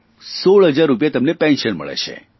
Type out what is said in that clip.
16 હજાર રૂપિયા તેમને પેન્શન મળે છે